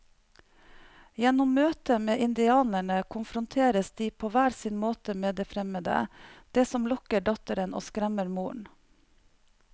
Gjennom møtet med indianerne konfronteres de på hver sin måte med det fremmede, det som lokker datteren og skremmer moren.